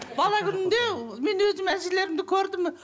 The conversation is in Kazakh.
бала күнімде мен өзім әжелерімді көрдім